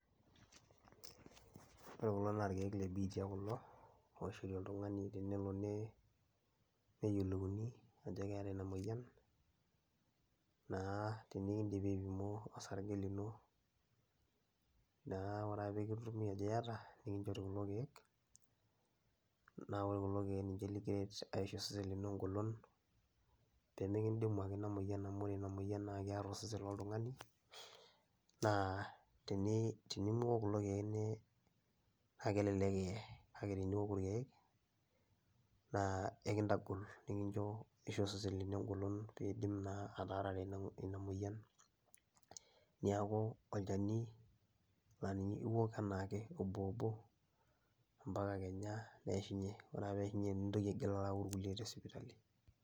Ore kulo na nkiek lebiitia kulo oishori oltungani tenelo neyiolouni ajo keeta inamoyian naa tenekindim aipma osarge lino nka ore ake pekitumi ajo iyata na nikinchori kulo kiek ore kuko kiek pemekindimu ake ina moyian amu ore inamoyian kear osesen loltungani, na tenemiok kulo keik kelelek iee na teniok kulo kiekna enkitagol nisho osesen lino engolon pekindim aitai ina moyian ,neaku olchani la ninye iwok ambaka kenya neishunye ore peishunye nilo ayau tesipitali.